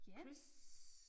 Chris